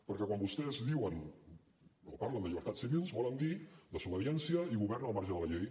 perquè quan vostès diuen o parlen de llibertats civils volen dir desobediència i govern al marge de la llei